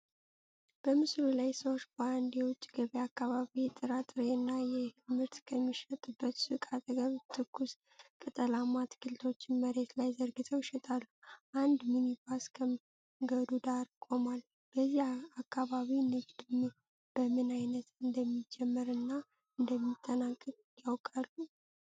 በምስሉ ላይ ሰዎች በአንድ የውጭ ገበያ አካባቢ የጥራጥሬ እና የእህል ምርት ከሚሸጥበት ሱቅ አጠገብ ትኩስ ቅጠላማ አትክልቶችን መሬት ላይ ዘርግተው ይሸጣሉ። አንድ ሚኒባስ ከመንገዱ ዳር ቆሟል። በዚህ አካባቢ ንግዱ በምን ሰዓት እንደሚጀመር እና እንደሚጠናቀቅ ያውቃሉ?